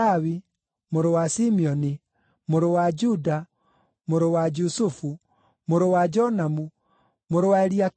mũrũ wa Simeoni, mũrũ wa Juda, mũrũ wa Jusufu, mũrũ wa Jonamu, mũrũ wa Eliakimu,